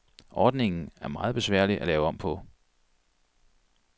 Ordningen er meget besværligt at lave om på.